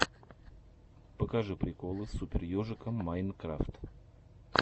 покажи приколы супер ежика майнкрафт